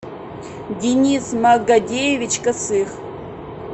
денис магадеевич косых